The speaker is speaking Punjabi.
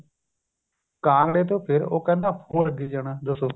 ਕਾਂਗੜੇ ਤੋਂ ਫ਼ੇਰ ਉਹ ਕਹਿੰਦਾ ਹੋਰ ਅੱਗੇ ਜਾਣਾ ਦੱਸੋ